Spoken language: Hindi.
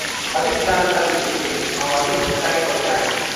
अधिक जानकारी के लिए हमारी वेबसाइट पर जाएँ।